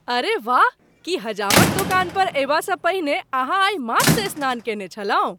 अरे वाह! की हजामक दोकान पर अयबासँ पहिने अहाँ आइ माथसँ स्नान कयने छलहुँ?